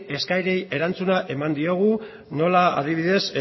eskaerei erantzuna eman diogu hala nola